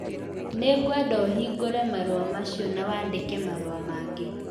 Nĩngwenda ũhingũre marũa macio na wandike marũa mangĩ